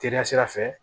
Teliya sira fɛ